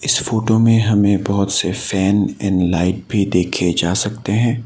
इस फोटो में हमें बहोत से फैन एंड लाइट भी देखे जा सकते हैं।